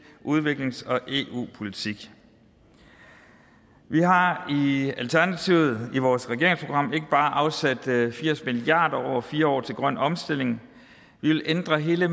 udviklings og eu politik vi har i alternativet i vores regeringsprogram ikke bare afsat firs milliard kroner over fire år til grøn omstilling vi vil ændre hele